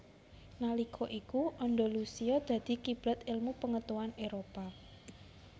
Nalika iku Andalusia dadi kiblat elmu pengetahuan Éropah